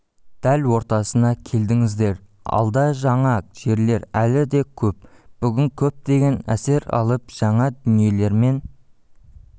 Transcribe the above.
дәл ортасына келдіңіздер алда жаңа жерлер әлі де көп бүгін көптеген әсер алып жаңа дүниелермен